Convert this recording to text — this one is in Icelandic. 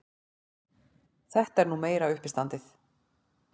Þetta er nú meira uppistandið!